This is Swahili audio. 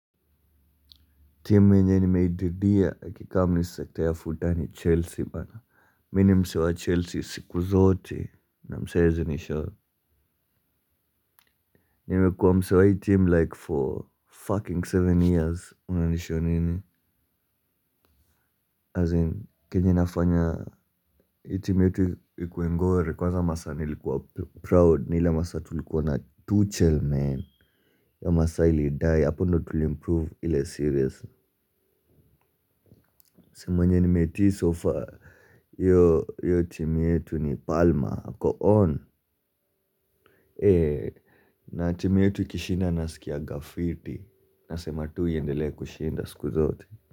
Team mwenye nimehididia kikamu ni sekta ya futani Chelsea bana Mi ni msee wa Chelsea siku zote na msee haezi nishoo. Nimekua msee wa hii team like for fucking seven years unanisho nini As in kenye inafanya hii team yetu ikue ngori kwanza masaa nilikuwa proud ni hile masaa tulikuwa na tuchel men hio masaa ili dai hapo ndo tulimprove ile serious. Simu mwenye nimeti so far hio team yetu ni palma ako on. Na team yetu ikishinda naskianga fiti. Nasema tu iendelee kushinda siku zote.